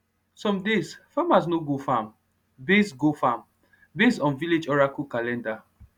some days farmers no go farm based go farm based on village oracle calendar